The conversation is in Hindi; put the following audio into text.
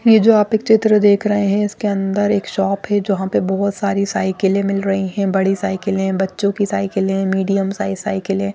ये जो आप एक चित्र देख रहे हैं इसके अन्दर एक शॉप है जो जहाँ पे बहुत सारी साइकिले मिल रही हैं बड़ी साइकिले बच्चो की साइकिल मीडियम साईज साइकिले --